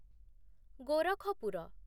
Gorakhpur